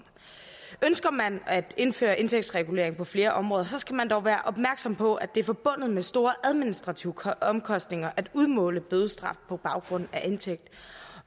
ønsker man at indføre indtægtsregulering på flere områder skal man dog også være opmærksom på at det er forbundet med store administrative omkostninger at udmåle bødestraf på baggrund af indtægt